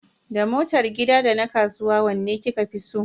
Da motar gida da na kasuwa wanne kika fi so?